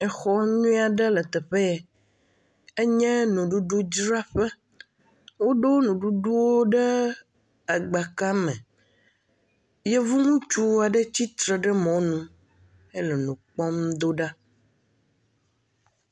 Exɔ nyuie aɖe le teƒe ye, enye nuɖuɖu dzraƒe, woɖo nuɖuɖuwo ɖe agbaka me, yevuŋutsu aɖe tsi tsitre ɖe mɔ nu, ele u kpɔm do ɖa.